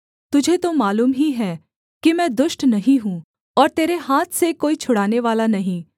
तुझे तो मालूम ही है कि मैं दुष्ट नहीं हूँ और तेरे हाथ से कोई छुड़ानेवाला नहीं